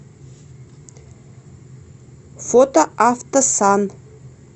фото автосан